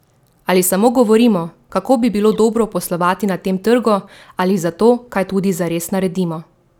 Ali samo govorimo, kako bi bilo dobro poslovati na tem trgu, ali za to kaj tudi zares naredimo?